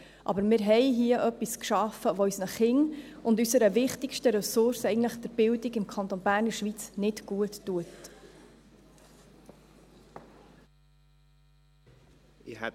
Aber wir haben hier etwas, das unseren Kindern, unserer wichtigsten Ressource im Kanton Bern und in der Schweiz, nicht guttut.